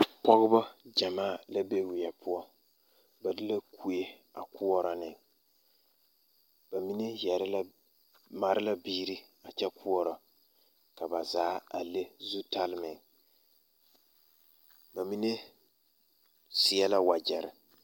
Pɔgeba gyamaa la be weɛ poɔ ba de la kue a koɔrɔ ne ba mine yɛre la mare la biiri a kyɛ koɔrɔ ka ba zaa a le zutale meŋ ba mine seɛ la wagyɛre.